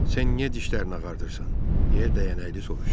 Sən niyə dişlərini ağardırsan, deyə dəyənəkli soruşdu.